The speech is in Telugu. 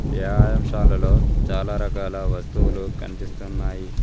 వ్యాయామ్ శాలలో చాలా రకాల వస్తువులు కన్పిస్తున్నాయి.